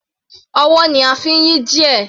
Ọwọ́ ni a fi ń yí gear.